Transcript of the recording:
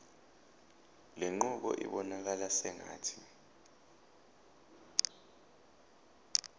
lenqubo ibonakala sengathi